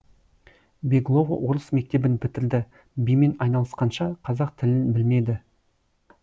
беглова орыс мектебін бітірді бимен айналысқанша қазақ тілін білмеді